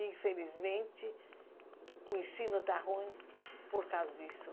Infelizmente, o ensino está ruim por causa disso.